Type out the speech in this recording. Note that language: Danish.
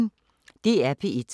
DR P1